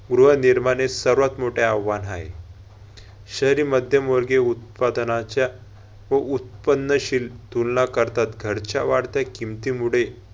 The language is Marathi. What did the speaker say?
गृहनिर्माणीत सर्वात मोठे आव्हान हाय. शहरी मध्यमवर्गीय उत्पादनाच्या व उत्पन्नशील तुलना करतात घरच्या वाढत्या किमतीमुळे